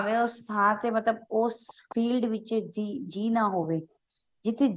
ਮੈਂ ਉਸ ਥਾਂ ਤੇ ਮਤਲਬ ਉਸ field ਵਿੱਚ ਜੀ ਨਾ ਹੋਵੇ ਜਿੱਥੇ ਜੀ